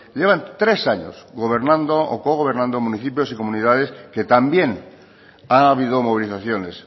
llevan tres años gobernando o cogobernando en municipios y comunidades que también ha habido movilizaciones